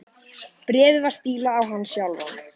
Bréfið var stílað á hann sjálfan.